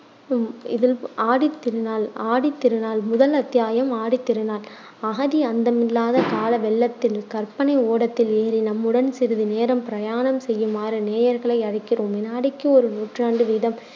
ஆடித்திருநாள் ஆடித்திருநாள் முதல் அத்தியாயம் ஆடித்திருநாள் அகதி அந்தமில்லாத கால வெள்ளத்தில் கற்பனை ஓடத்தில் ஏறி நம்முடன் சிறிது நேரம் பிரயாணம் செய்யுமாறு நேயர்களை அழைக்கிறோம். விநாடிக்கு ஒரு நூற்றாண்டு வீதம்